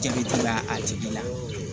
Jaabi dira a tigi la